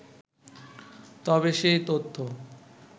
তবে সেই তথ্য